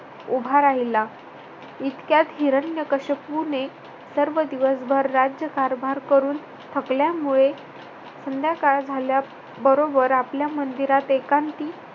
उभा राहिला. इतक्यात हिरण्यकश्यपूने सर्व दिवसभर राज्यकारभार करून थकल्यामुळे संध्याकाळ झाल्याबरोबर आपल्या मंदिरात एकांती